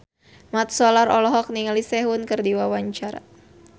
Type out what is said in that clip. Mat Solar olohok ningali Sehun keur diwawancara